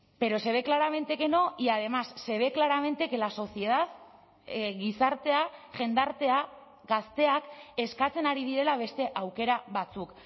pero se ve claramente que no y además se ve claramente que la sociedad gizartea jendartea gazteak eskatzen ari direla beste aukera batzuk